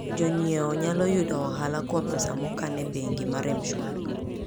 Jonyiewo nyalo yudo ohala kuom pesa mokan e bengi mar M-Shwari.